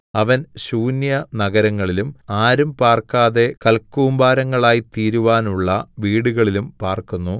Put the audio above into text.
അവൻ ശൂന്യനഗരങ്ങളിലും ആരും പാർക്കാതെ കൽകൂമ്പാരങ്ങളായിത്തീരുവാനുള്ള വീടുകളിലും പാർക്കുന്നു